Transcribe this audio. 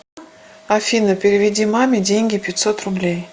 афина переведи маме деньги пятьсот рублей